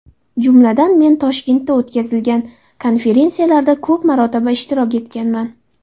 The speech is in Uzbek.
Jumladan, men Toshkentda o‘tkazilgan konferensiyalarda ko‘p marotaba ishtirok etganman.